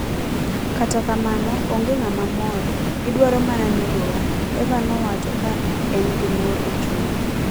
Kata kamano, onge ng'ama mor; gidwaro mana negowa". Eva nowacho ka engi luor e chunye